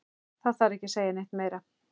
Það þarf ekki að segja neitt meira.